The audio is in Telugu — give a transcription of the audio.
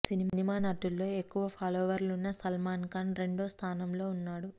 సినిమా నటుల్లో ఎక్కువ ఫాలోవర్లు ఉన్న సల్మాన్ఖాన్ రెండో స్థానంలో ఉన్నాడు